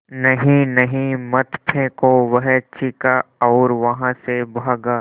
नहीं नहीं मत फेंको वह चीखा और वहाँ से भागा